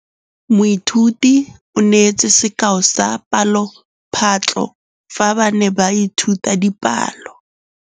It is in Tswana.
Moithuti o neetse sekaô sa palophatlo fa ba ne ba ithuta dipalo.